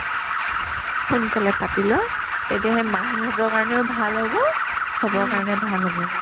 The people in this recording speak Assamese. সোনকালে পাতি লোৱা তেতিয়া সেই মাহীহঁতৰ কাৰণেও ভাল হ'ব চবৰ কাৰণে ভাল হ'ব